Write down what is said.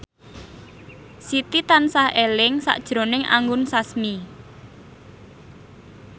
Siti tansah eling sakjroning Anggun Sasmi